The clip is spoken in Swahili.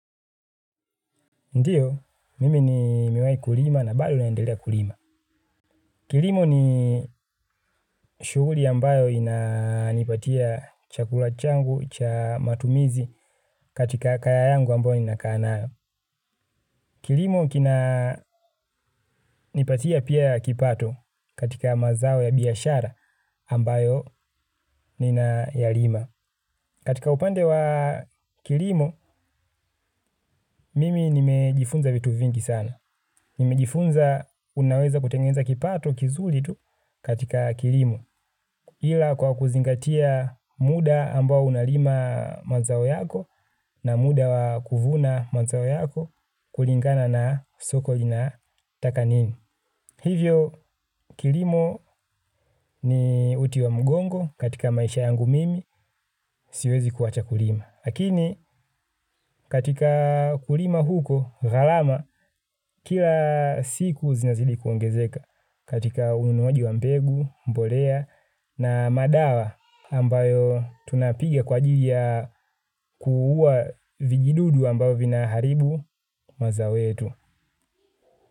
Ndiyo, mimi nimewai kulima na bado naendelea kulima. Kilimo ni shughuli ambayo inanipatia chakula changu, cha matumizi katika kaya yangu ambayo ninakaa nayo. Kilimo kinanipatia pia ya kipato katika mazao ya biashara ambayo ninayalima. Katika upande wa kilimo, mimi nimejifunza vitu vingi sana. Nimejifunza unaweza kutengeneza kipato kizuri tu katika kilimo ila kwa kuzingatia muda ambao unalima mazao yako na muda wa kuvuna mazao yako kulingana na soko linataka nini. Hivyo, kilimo ni uti wa mgongo katika maisha yangu mimi, siwezi kuwacha kulima. Lakini, katika kulima huko, gharama, kila siku zinazidi kuongezeka katika ununuaji wa mbegu, mbolea na madawa ambayo tunapiga kwa ajili ya kuua vijidudu ambavyo vinaharibu mazao yetu.